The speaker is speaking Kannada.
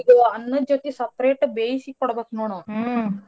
ಅಕಿಗೆ ಅನ್ನದ್ ಜೋತಿ separate ಆಗಿ ಬೇಸಿ ಕೋಡ್ಬೇಕ್ ನೋಡ್ ಅವ್ನ .